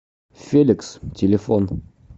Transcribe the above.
феликс телефон